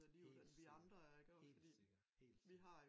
Helt sikkert helt sikkert helt sikkert